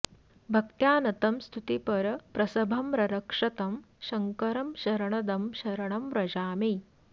भक्त्या नतं स्तुतिपर प्रसभं ररक्ष तं शङ्करं शरणदं शरणं व्रजामि